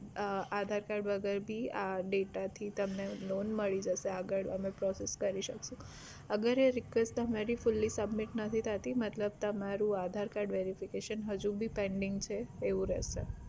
aadhar card વગર ભી આ data થી તમને loan મળી જશે આગળ અમે process કરી શકશું અગર એ request તમારી fully submit નથી થાતી મતલબ તમારું aadhar card verification હજુ ભી pending છે એવું રહેશે